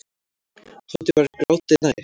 Tóti var gráti nær.